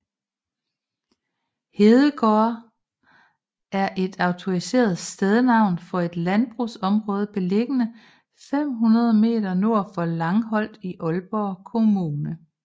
Hedegårde er et autoriseret stednavn for et landbrugsområde beliggende 500 meter nord for Langholt i Aalborg Kommune